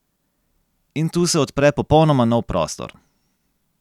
In tu se odpre popolnoma nov prostor.